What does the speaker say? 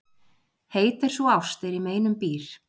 Heit er sú ást er í meinum býr.